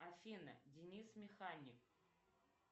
афина денис механик